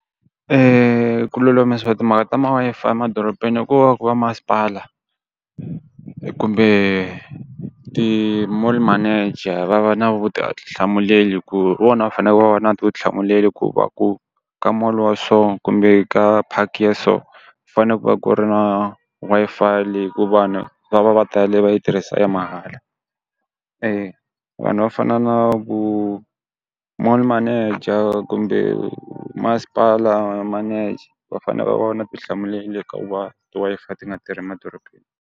Ku lulamisiwa timhaka ta ma-Wi-Fi emadorobeni i ku va ku va masipala kumbe ti-mall manager va va na hi ku hi vona va fanele va va na vutihlamuleri ku va ku ka mall wa so kumbe ka park ya so ku fane ku va ku ri na Wi-Fi leyi ku vanhu va va va tEle va yi tirhisa ya mahala, vanhu va fana na ku mall manager kumbe masipala manager va fane va va na ti hlamuleli hikuva ti-Wi-Fi ti nga tirhi .